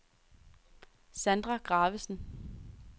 Sandra Gravesen